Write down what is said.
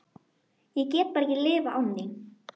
Ég get bara ekki lifað án þín.